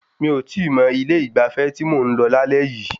Mi ò tíì mọ̀ ilé ìgbafẹ́ tí mò ń lọ lálẹ́ yìí.